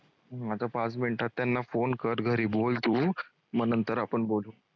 हम्म आता पाच मिनिटात त्यांना phone कर घरी बोल तू म नंतर आपण बोलू.